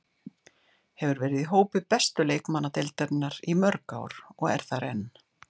Hefur verið í hópi bestu leikmanna deildarinnar í mörg ár og er þar enn.